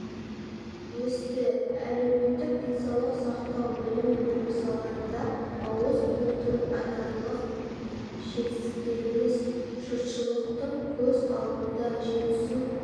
өсті әлеуметтік денсаулық сақтау білім беру салаларында ауыз толтырып айтарлық жетістіктеріміз жұртшылықтың көз алдында жетісу